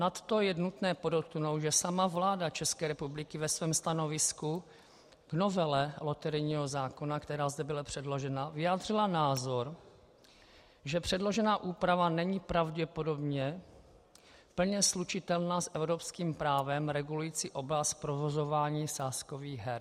Nadto je nutné podotknout, že sama vláda České republiky ve svém stanovisku k novele loterijního zákona, která zde byla předložena, vyjádřila názor, že předložená úprava není pravděpodobně plně slučitelná s evropským právem regulujícím oblast provozování sázkových her.